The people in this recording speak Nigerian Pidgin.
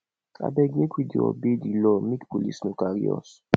abeg make we dey obey di law make police no carry us